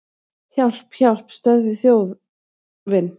Hjálp, hjálp, stöðvið þjófinn!